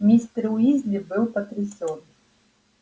мистер уизли был потрясен